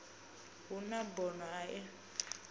hu na bono a u